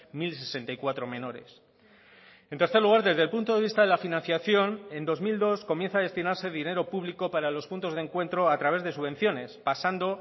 mil sesenta y cuatro menores en tercer lugar desde el punto de vista de la financiación en dos mil dos comienza a destinarse dinero público para los puntos de encuentro a través de subvenciones pasando